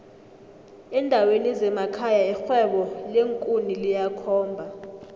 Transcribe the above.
endaweni zemekhaya irhwebo leenkuni liyakhomba